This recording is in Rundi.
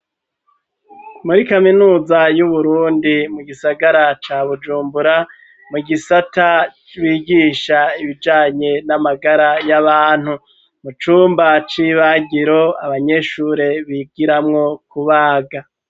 Muri kaminuza y'uburundi mu gisagara ca bujumbura mu gisata bigisha ibijanye n'amagara y'abantu mu cumba c'ibagiro abanyeshure bigiramwo ku baga.